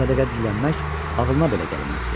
Sədəqə dilənmək ağılına belə gəlməzdi.